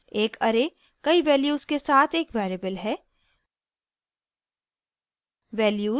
* एक array कई values के साथ एक variable है